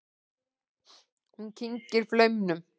Hún kyngir flaumnum.